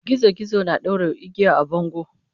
Gizo gizo na ɗaure igiya a bango.